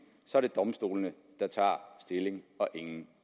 så er det domstolene der tager stilling og ingen